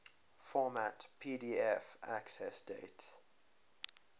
format pdf accessdate